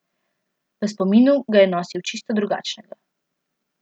V spominu ga je nosil čisto drugačnega.